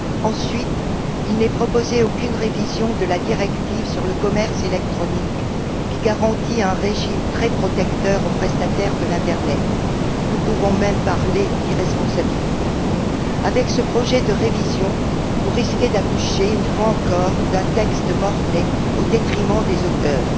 Ensuite, il n'est proposé aucune révision de la directive sur le commerce électronique, qui garantit un régime très protecteur aux prestataires de l'internet. Nous pouvons même parler d'irresponsabilité. Avec ce projet de révision, vous risquez d'accoucher, une fois encore, d'un texte mort né au détriment des auteurs.